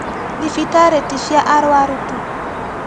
Thibitarĩ ti cia arũaru tu